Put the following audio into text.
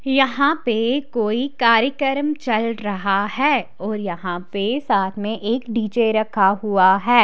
यहां पे कोई कार्यक्रम चल रहा है और यहां पे साथ में एक डी_जे रखा हुआ है।